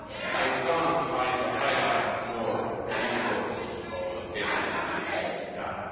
and united European Union. I cannot highlight more the importance